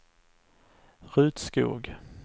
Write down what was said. Rut Skog